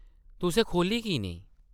‘‘तुसें खोह्ल्ली की नेईं?’’